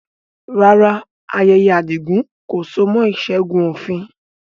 Rárá, ayẹyẹ ayọ̀ Adigun kò so mọ́ ìṣẹ́gun òfin